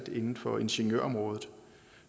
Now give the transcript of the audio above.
inden for ingeniørområdet